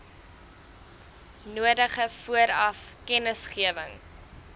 nodige vooraf kennisgewing